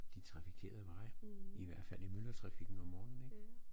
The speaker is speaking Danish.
De trafikerede veje i hvert fald i myldretrafikken om morgenen ik